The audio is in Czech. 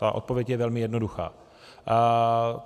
Ta odpověď je velmi jednoduchá.